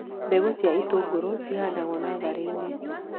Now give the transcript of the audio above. Mbegũ cia itũngũrũ cihandagwo natharĩ-inĩ